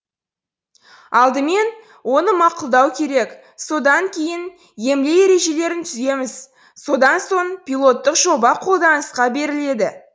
алдымен оны мақұлдау керек содан кейін емле ережелерін түземіз содан соң пилоттық жоба қолданысқа беріледі